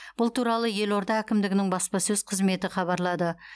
бұл туралы елорда әкімдігінің баспасөз қызметі хабарлады